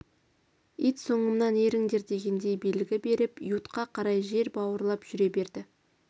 ит соңымнан еріңдер дегендей белгі беріп ютқа қарай жер бауырлап жүре берді